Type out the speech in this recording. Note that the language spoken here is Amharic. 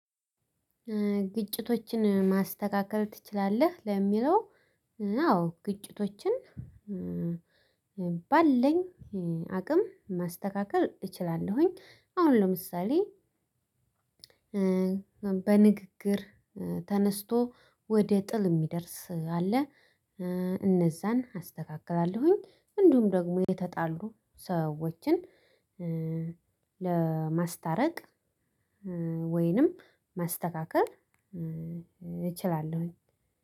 ግጭቶችን ማስተካከል ትችላለህ? ለሚለው አዎ ግጭቶችን ባለኝ አቅም ማስተካከል እችላለሁኝ አሁን ለምሳሌ በንግግር ተነስቶ ወደ ጥል የሚደርስ አለ እነዛን አስተካክላለሁኝ እንዲሁም ደግሞ የተጣሉ ሰዎችን ለማስታረቅ ወይንም ማስተካከል እችላለሁኝ